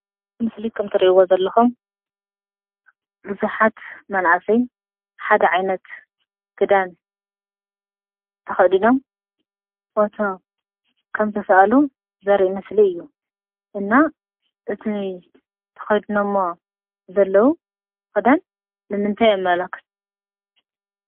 ምስሊ ከምተርእይዎ ዘለኹም ብዙኃት መንእሰይ ሓድ ዓይነት ክዳን ተኸዲኖም ፎቶ ከምተሠኣሉ ዘርእይ ምስሊ እዩ እና እቲ ተኸዲኖ እሞ ዘለዉ ኽዳን ንምንተይ የመለኽት?